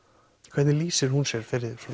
hvernig lýsir hún sér